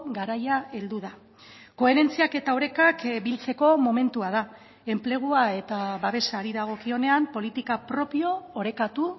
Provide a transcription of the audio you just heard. garaia heldu da koherentziak eta orekak biltzeko momentua da enplegua eta babesari dagokionean politika propio orekatu